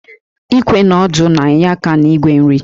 Íkwè na ọ́dụ́ na-enye aka n'ígwè nri